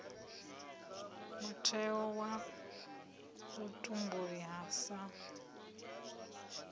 mutheo wa vhutumbuli ha sa